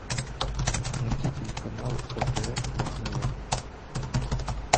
найти телеканал отр на тв